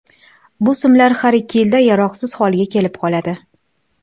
Bu simlar har ikki yilda yaroqsiz holga kelib qoladi.